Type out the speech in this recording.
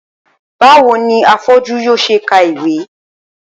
Báwo ni afọ́jú yóò se ka ìwé.